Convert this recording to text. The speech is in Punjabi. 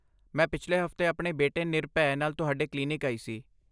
ਮੈਂ ਪਿਛਲੇ ਹਫਤੇ ਆਪਣੇ ਬੇਟੇ ਨਿਰਭੈ ਨਾਲ ਤੁਹਾਡੇ ਕਲੀਨਿਕ ਆਈ ਸੀ।